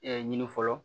ɲini fɔlɔ